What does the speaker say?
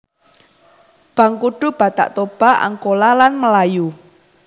Bangkudu Batak Toba Angkola lan Melayu